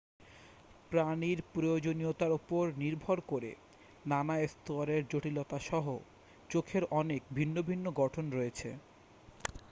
প্রাণীর প্রয়োজনীয়তার উপর নির্ভর করে নানা স্তরের জটিলতাসহ চোখের অনেক ভিন্ন ভিন্ন গঠন রয়েছে